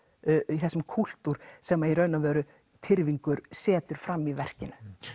í þessum kúltúr sem Tyrfingur setur fram í verkinu